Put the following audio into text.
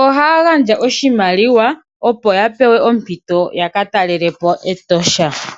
ohaya gandja oshimaliwa, opo yapewe ompito yakataalelepo Etosha National Park.